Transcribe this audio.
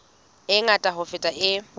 e ngata ho feta e